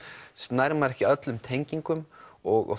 nær maður ekki öllum tengingum og